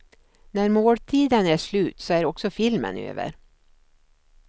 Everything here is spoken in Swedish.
När måltiden är slut så är också filmen över.